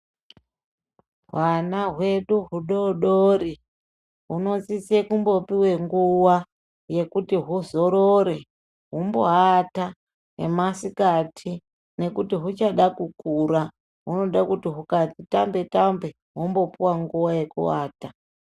Hwana hwedu hudodori, hunosise kumbopiwe nguwa ,yekuti huzorore, humboata yemasikati nekuti huchada kukura. Hunoda kuti hukati tambe -tambe, hombopuwa nguwa yekuata.